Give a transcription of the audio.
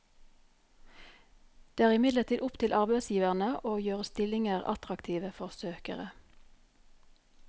Det er imidlertid opp til arbeidsgiverne å gjøre stillinger attraktive for søkere.